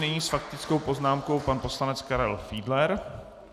Nyní s faktickou poznámkou pan poslanec Karel Fiedler.